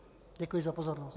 Děkuji za pozornost.